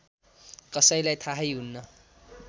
कसैलाई थाहै हुन्न